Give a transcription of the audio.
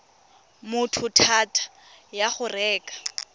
motho thata ya go reka